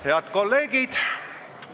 Head kolleegid!